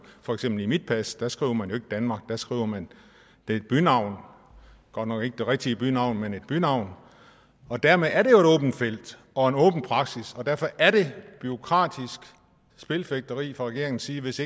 for eksempel i mit pas der skriver man jo ikke danmark der skriver man et bynavn godt nok ikke det rigtige det navn men et bynavn og dermed er det åbent felt og en åben praksis og derfor er det bureaukratisk spilfægteri fra regeringens side hvis